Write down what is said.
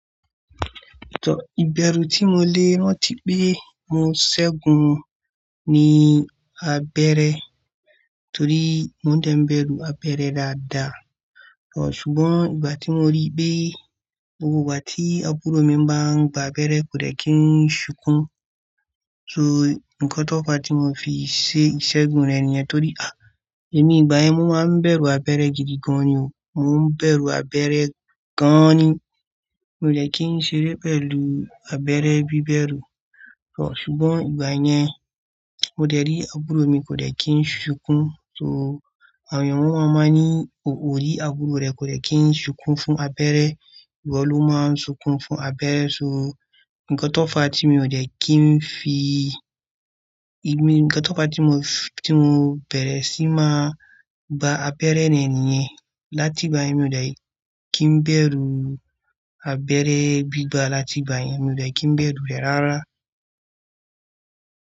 Tọ, ìbẹ̀rù tí mo lé rànti pé mo ṣẹ́gun ní abẹ́rẹ́ torí mo dẹ́ n bẹ̀rù abẹ́rẹ́ dáadáa. Ṣùgbọ́n ìgbà tí mo rí pé gbogbo ìgbà tí àbúrò mi bá ń gba abẹ́rẹ́ kò dẹ́ kí ń sunkún. So, ǹkan tó fa tí mo fi ṣe ìṣẹ́gun rẹ̀ nìyẹn torí, à, èmi ìgbà yẹn mo máa ń bẹ̀rù abẹ́rẹ́ gidi gan ni o. Mo ń bẹ̀rù abẹ́rẹ́ gan ni. Mi ò dẹ́ kí ń ṣeré pẹ̀lú abẹ́rẹ́ bí bẹ́rù. Ṣùgbọ́n ìgbà yẹn, mo dẹ̀ rí àbúrò mi kò dẹ́ kí ń sunkún. So, àwọn ènìyàn máa ń má ní, "Oò rí àbúrò rẹ kò dẹ́ kí ń sunkún fún abẹ́rẹ́, ìwọ ló máa ń sunkún fún abẹ́rẹ́." So, ǹkan tó fa tí mi ò dẹ́ kí ń fi, ǹkan tó fa tí mo bẹ̀rẹ̀ sí máa gba abẹ́rẹ́ rẹ̀ ni ìyẹn. Láti ìgbà yẹn, mi ò dẹ́ kí ń bẹ̀rù abẹ́rẹ́ gbígba. Láti ìgbà yẹn, mi ò dẹ́ kí ń bẹ̀rù rẹ̀ rárá.